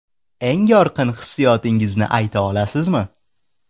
Eng yorqin hissiyotingizni ayta olasizmi?